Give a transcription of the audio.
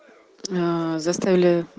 заставили